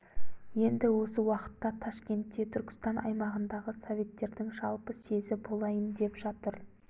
енді осы уақытта ташкентте түркістан аймағындағы советтердің жалпы съезі болайын деп жатыр